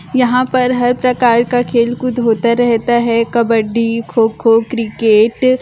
यहाँ पर हर प्रकार की खेल कुद होता रहता हैं कबबडी खो-खो क्रिकेट --